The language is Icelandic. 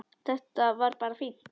Þetta var bara fínt.